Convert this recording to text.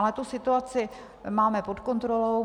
Ale tu situaci máme pod kontrolou.